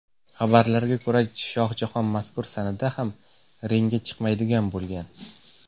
Xabarlarga ko‘ra, Shohjahon mazkur sanada ham ringga chiqmaydigan bo‘lgan.